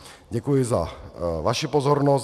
Děkuji za vaši pozornost.